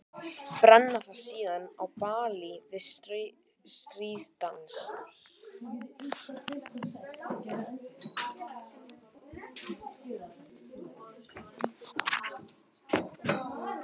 Brenna það síðan á báli við stríðsdans.